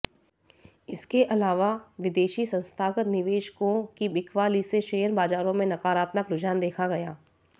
इसके अलावा विदेशी संस्थागत निवेशकों की बिकवाली से शेयर बाजारों में नकारात्मक रुझान देखा गया